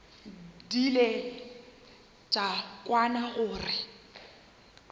di ile tša kwana gore